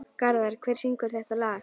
Garðar, hver syngur þetta lag?